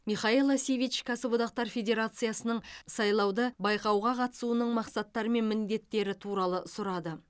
михаела сивич кәсіподақтар федерациясының сайлауды байқауға қатысуының мақсаттары мен міндеттері туралы сұрады